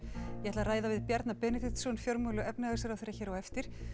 ég ætla að ræða við Bjarna Benediktsson fjármála og efnhagsráðherra hér á eftir